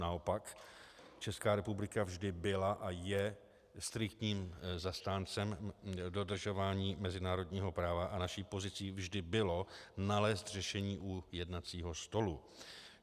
Naopak, Česká republika vždy byla a je striktním zastáncem dodržování mezinárodního práva a naší pozicí vždy bylo nalézt řešení u jednacího stolu.